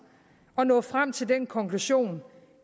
at nå frem til den konklusion